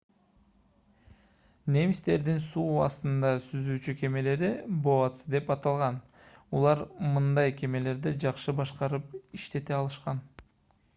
немистердин суу астында cүзүүчү кемелери u-boats деп аталган. алар мындай кемелерди жакшы башкарып иштете алышкан